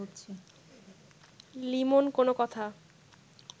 লিমন কোনো কথা